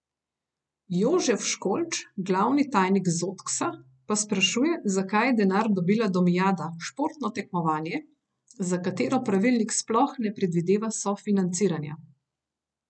Jožef Školč, glavni tajnik Zotksa, pa sprašuje, zakaj je denar dobila Domijada, športno tekmovanje, za katero pravilnik sploh ne predvideva sofinanciranja.